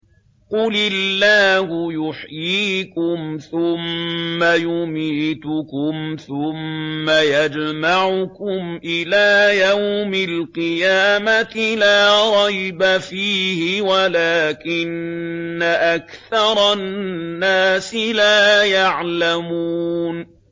قُلِ اللَّهُ يُحْيِيكُمْ ثُمَّ يُمِيتُكُمْ ثُمَّ يَجْمَعُكُمْ إِلَىٰ يَوْمِ الْقِيَامَةِ لَا رَيْبَ فِيهِ وَلَٰكِنَّ أَكْثَرَ النَّاسِ لَا يَعْلَمُونَ